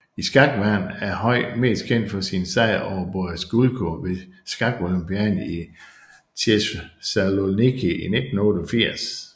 I skakverdenen er Høi mest kendt for sin sejr over Boris Gulko ved skakolympiaden i Thessaloniki 1988